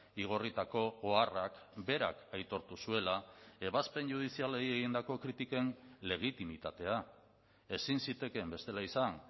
igorritako oharrak berak aitortu zuela ebazpen judizialei egindako kritiken legitimitatea ezin zitekeen bestela izan